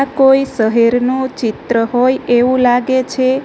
કોઈ શહેરનો ચિત્ર હોય એવું લાગે છે.